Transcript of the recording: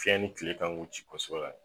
Fiɲɛ ni kile kan k'u ci kosɛbɛ la.